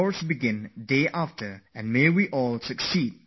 Let us hope we all are successful, then the country will surely succeed